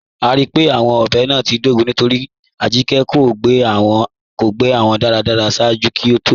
A ríí pé awọn ọbẹ́ náà ti dógún nítorí Ajíkẹ̀ kò gbẹ́ wọn daradara ṣaaju kí ó tó fí wọn sínu ilẹ̀ ipa mọ.